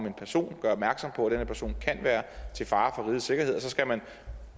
en person og gør opmærksom på at den her person kan være til fare for rigets sikkerhed så skal man